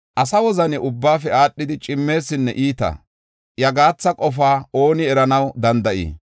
“Asa wozani ubbaafe aadhidi cimmeesinne iita; iya gaatha qofaa ooni eranaw danda7ii?